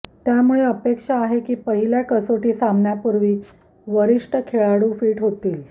त्यामुळे अपेक्षा आहे की पहिल्या कसोटी सामन्यपूर्वी वरिष्ठ खेळाडू फिट होतील